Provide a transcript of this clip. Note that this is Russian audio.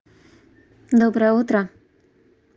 доброе утро